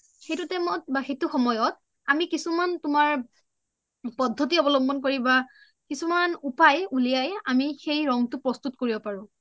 সেইটো time ত বা সেইটো সময়ত আমি কিছুমান তুমাৰ পদ্ধতি অবলম্বন কৰি বা কিছুমান উপায় উলিয়াই আমি সেই ৰংটো প্ৰোষ্টুট কৰিব পাৰো